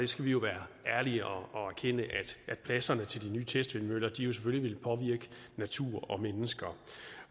skal vi jo være ærlige og og erkende at pladserne til de nye testvindmøller selvfølgelig vil påvirke natur og mennesker